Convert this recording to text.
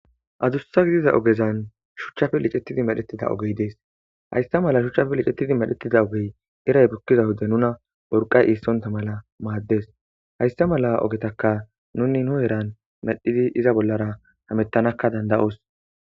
Adussa gidiza ogezan shuchchafe licettidi madhetida ogey dees haysta mala shuchchafe licettidi madhetida ogey eray bukkiza wode nuna borqay iissonta mala maaddes haysta mala ogetaka nuni nu eran medhidi iza bollara hamettanakka danda7os